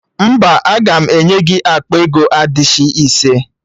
Mba, aga m enye gị akpa ego adishị ise